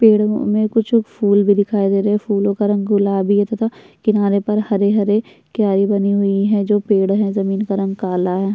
पेड़ों में कुछ फूल भी दिखाई दे रहे हैं फूलों का रंग गुलाबी है तथा किनारे पर हरे-हरे क्यारी बनी हुई हैं जो पेड़ हैं जमीन का रंग काला है।